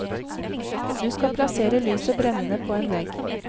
Du skal plassere lyset brennende på en vegg.